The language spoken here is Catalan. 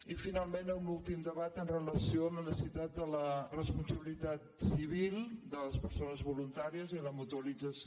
i finalment un últim debat amb relació a la necessitat de la responsabilitat civil de les persones voluntàries i la mutualització